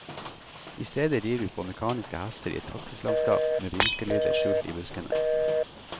I stedet rir vi på mekaniske hester i et kaktuslandskap med vrinskelyder skjult i buskene.